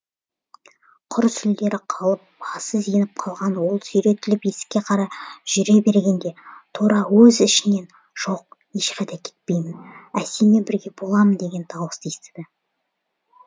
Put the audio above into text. құр сүлдері қалып басы зеңіп қалған ол сүйретіліп есікке қарай жүре бергенде тура өз ішінен жоқ ешқайда кетпеймін әсеммен бірге болам деген дауысты естіді